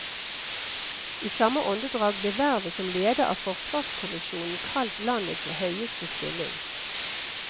I samme åndedrag ble vervet som leder av forsvarskommisjonen kalt landets høyeste stilling.